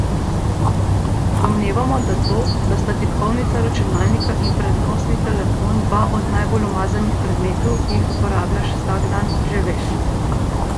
Domnevamo da to, da sta tipkovnica računalnika in prenosni telefon dva od najbolj umazanih predmetov, ki jih uporabljaš vsak dan, že veš.